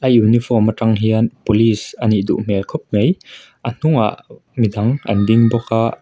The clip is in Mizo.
Uniform atang hian police a nih duh hmel khawp mai a hnungah midang an ding bawk a--